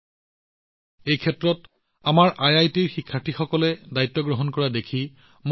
মই এইটো দেখি ভাল পাইছো আমাৰ আইআইটিৰ শিক্ষাৰ্থীসকলেও এই আদেশ গ্ৰহণ কৰিছে